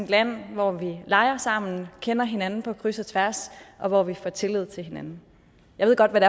land hvor vi leger sammen og kender hinanden på kryds og tværs og hvor vi har tillid til hinanden jeg ved godt hvad